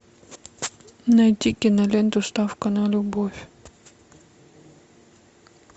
найди киноленту ставка на любовь